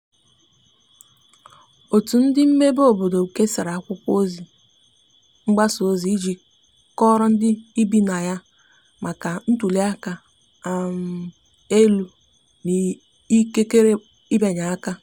otu ndi mmebe obodo kesara akwụkwo mgbasa ozi iji kọoro ndi ibi na ya na ya maka ntuli aka um elu na ikekere ịbịanye aka